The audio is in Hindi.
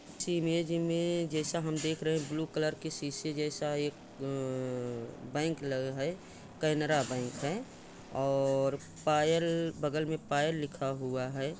इस इमेज में जैसा हम देख रहे है ब्लू कलर के सीसे जैसा एक बैंक लग रहा है केनेरा बैंक है और पायल बगल में पायल लिखा हुआ हैं।